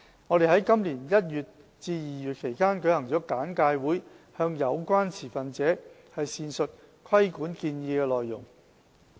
我們在今年1月至2月期間舉行了簡介會，向有關持份者闡述規管建議的內容。